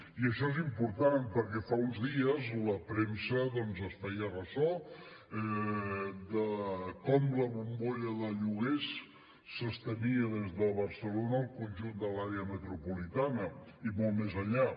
i això és important perquè fa uns dies la premsa doncs es feia ressò de com la bombolla de lloguers s’estenia des de barcelona al conjunt de l’àrea metropolitana i molt més enllà